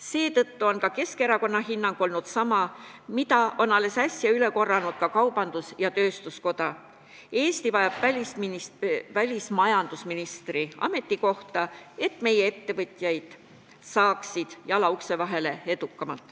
Seetõttu on Keskerakonna hinnang olnud sama, mida on alles äsja üle korranud Eesti Kaubandus-Tööstuskoda: Eesti vajab välismajandusministri ametikohta, et meie ettevõtjad saaksid edukamalt jala ukse vahele.